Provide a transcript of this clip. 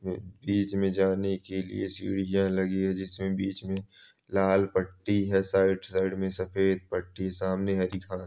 बीच मे जाने के लिए सीढ़ियाँ लगी है जिसमे बीच मे लाल पट्टी है साइड साइड मे सफेद पट्टी सामने है